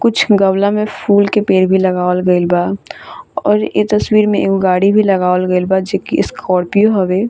कुछ गमला में फूल के पेड़ भी लगावल गईल बा और ए तस्वीर में एगो गाड़ी भी लगावल गईल बा जे की स्कार्पियो हवे।